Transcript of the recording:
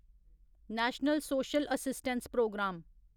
national social assistance programme